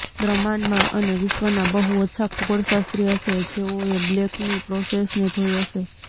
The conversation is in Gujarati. બ્રહ્માંડમાં અને વિશ્વના બહું ઓછા ખગોળશાસ્ત્રી હશે જેઓએ બ્લેકની પ્રોસેસને જોઇ હશે